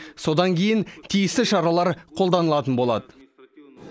содан кейін тиісті шаралар қолданылатын болады